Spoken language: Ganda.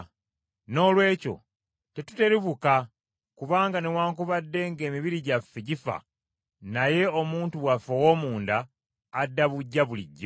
Noolwekyo tetuterebuka, kubanga newaakubadde ng’emibiri gyaffe gifa, naye omuntu waffe ow’omunda adda buggya bulijjo.